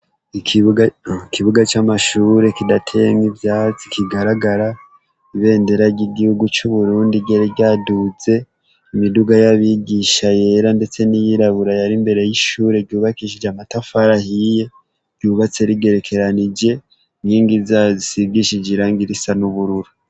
Ikibuga camashure kidateyemwo ivyatsi kigaragara ibendera ryigihugu cuburundi ryari ryaduze imiduga yabigisha yera ndetse niyirabura yari imbere yishure ryubakishishwe amatafari ahiye ryubatse rigerekeranije inkigi zayo zisigishije irangi risa nubururu